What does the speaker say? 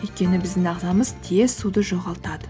өйткені біздің ағзамыз тез суды жоғалтады